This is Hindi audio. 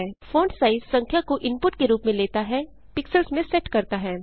फोंटसाइज संख्या को इनपुट के रूप में लेता हैpixels में सेट करता है